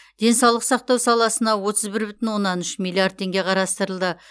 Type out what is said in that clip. денсаулық сақтау саласына отыз бір бүтін оннан үш миллиард теңге қарастырылды